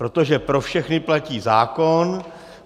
Protože pro všechny platí zákon.